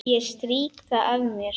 Ég strýk það af mér.